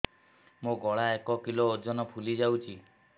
ମୋ ଗଳା ଏକ କିଲୋ ଓଜନ ଫୁଲି ଯାଉଛି